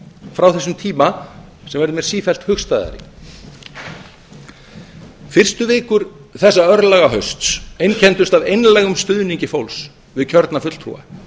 frá þessum tíma sem verður mér sífellt hugstæðari fyrstu vikur þess örlagahausts einkenndust af einlægum stuðningi fólks við kjörna fulltrúa